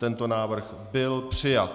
Tento návrh byl přijat.